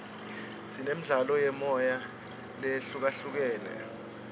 sinemidlalo yemoya lehlukahlukene